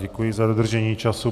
Děkuji za dodržení času.